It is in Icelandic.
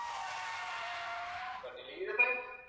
Hvernig líður þeim?